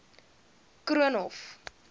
koornhof